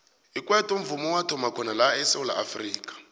ikwaito mvumo owathoma khona la esewula afrika